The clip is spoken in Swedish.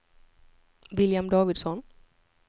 William Davidsson